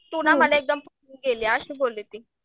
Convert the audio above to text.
तू ना मला एकदम केली अशी बोली ती.